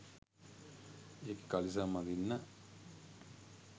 ඒකෙ කලිසම් අඳින්න